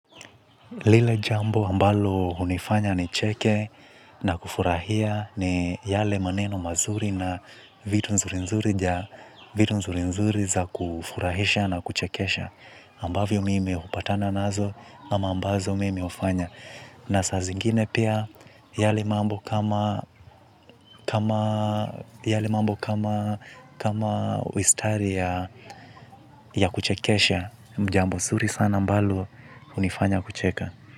Lile jambo ambalo hunifanya nicheke na kufurahia ni yale maneno mazuri na vitu nzuri nzuri za kufurahisha na kuchekesha. Ambavyo mimi hupatana nazo ama ambazo mimi hufanya na saa zingine pia yale mambo kama mistari ya kuchekesha, jambo nzuri sana ambalo hunifanya kucheka.